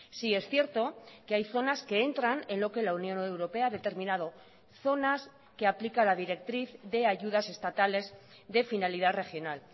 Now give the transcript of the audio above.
sí es cierto que hay zonas que entran en lo que la unión europea ha determinado zonas que aplica la directriz de ayudas estatales de finalidad regional